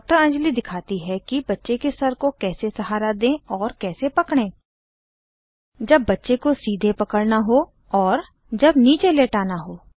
डॉ अंजली दिखाती है कि बच्चे के सर को कैसे सहारा दें और कैसे पकड़ें जब बच्चे को सीधे पकड़ना हो और जब नीचे लेटाना है